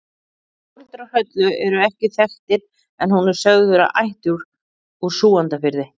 Foreldrar Höllu eru ekki þekktir en hún er sögð vera ættuð úr Súgandafirði.